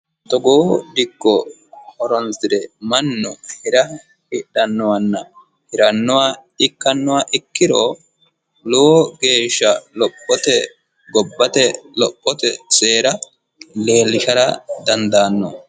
Togoo dikko horonsire mannu hira hidhanohanna hirannoha ikkanoha ikkiro lowo geeshsha lophote gobbate lophote seera leellishara dandaanno.